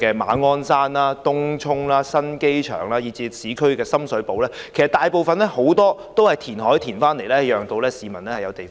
馬鞍山、東涌、新機場，以至市區的深水埗，其實大部分也是填海得來的土地。